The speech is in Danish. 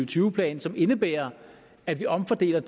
tyve plan som indebærer at vi omfordeler